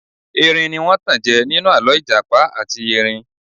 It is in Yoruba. Erin ní wọ́n tanjẹ ninu alọ ìjàpá àti erin.